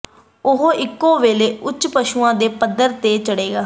ਉਹ ਇਕੋ ਵੇਲੇ ਉੱਚ ਪਸ਼ੂਆਂ ਦੇ ਪੱਧਰ ਤੇ ਚੜ੍ਹੇਗਾ